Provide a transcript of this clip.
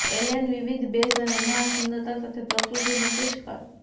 Allan વિવિધ બેઝ અને મહાન સુંદરતા સાથે પ્રકૃતિ પુષ્કળ